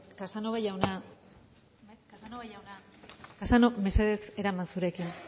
casanova jauna mesedez eraman zurekin